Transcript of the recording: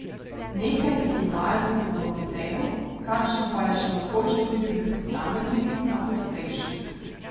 Nekaj jih imajo tudi v muzeju, kakšna pa je še mogoče najti pri posameznikih na podstrešjih.